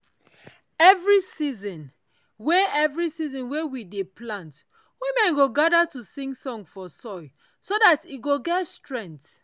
every season wey every season wey we dey plant women go gather to sing song for soil so that e go get strength.